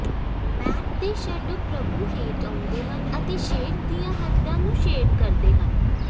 mat ਦੇ shadow ਭ੍ਰਬੂ ਹੇਠ ਆਉਂਦੇ ਹਨ ਅਤੇ ਸ਼ੇਡ ਦੀ ਹੱਦਾਂ ਨੂੰ ਸ਼ੇਡ ਕਰਦੇ ਹਨ